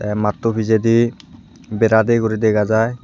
matto pijedi bera de guri dega jai.